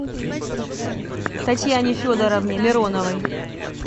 татьяне федоровне мироновой